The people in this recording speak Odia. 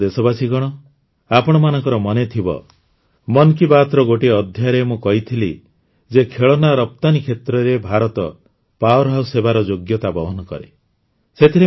ମୋର ପ୍ରିୟ ଦେଶବାସୀଗଣ ଆପଣମାନଙ୍କର ମନେଥିବ ମନ୍ କୀ ବାତ୍ର ଗୋଟିଏ ଅଧ୍ୟାୟରେ ମୁଁ କହିଥିଲି ଯେ ଖେଳନା ରପ୍ତାନୀ କ୍ଷେତ୍ରରେ ଭାରତ ଅଗ୍ରଣୀ ହେବାର ଯୋଗ୍ୟତା ବହନ କରେ